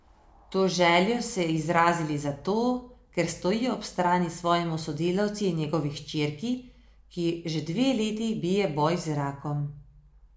To željo se izrazili zato, ker stojijo ob strani svojemu sodelavcu in njegovi hčerki, ki že dve leti bije boj z rakom.